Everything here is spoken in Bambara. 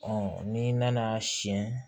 n'i nana siɲɛ